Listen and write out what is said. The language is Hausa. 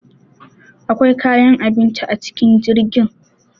Akwai kayan abinci a cikin jirgin.